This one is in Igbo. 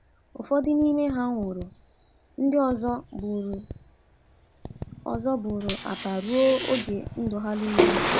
Ụfọdụ n’ime ha nwụrụ; ndị ọzọ buru ọzọ buru apa ruo oge ndụ ha nile.